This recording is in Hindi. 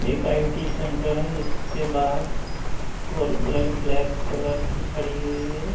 एक आई यु टी सेंटर हैं जिसके बाहर फोर व्हीलर ब्लैक कलर की खडी हुई है।